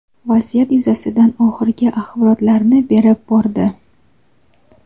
vaziyat yuzasidan oxirgi axborotlarni berib bordi.